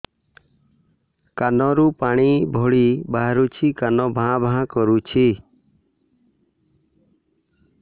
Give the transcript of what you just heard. କାନ ରୁ ପାଣି ଭଳି ବାହାରୁଛି କାନ ଭାଁ ଭାଁ କରୁଛି